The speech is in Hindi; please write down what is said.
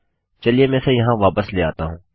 चलिए मैं इसे यहाँ वापस ले आता हूँ